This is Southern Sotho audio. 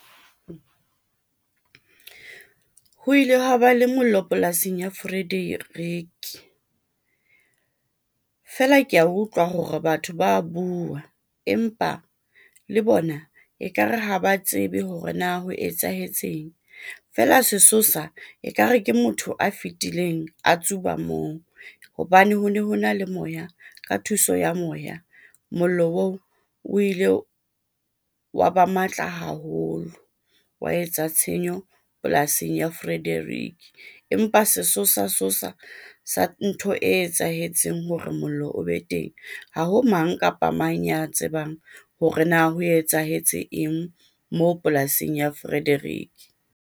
Ho ile hwa ba le mollo polasing ya Frederick feela, kea utlwa hore batho ba bua empa le bona ekare ha ba tsebe hore na ho etsahetseng feela sesosa ekare ke motho a fitileng a tsuba moo hobane ho ne ho na le moya ka thuso ya moya. Mollo oo o ile wa ba matla haholo, wa etsa tshenyo polasing ya Frederick. Empa sesosa sosa sa ntho e etsahetseng hore mollo o be teng, ha ho mang kapa mang ya tsebang hore na ho etsahetse eng moo polasing ya Frederick.